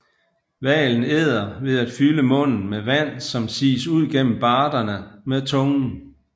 Hvalen æder ved at fylde munden med vand som sies ud gennem barderne med tungen